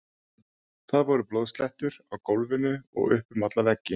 Það voru blóðslettur á gólfinu og upp um alla veggi!